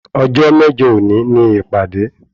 Ọjọ́ mẹ́jọ òní ni ìpàdé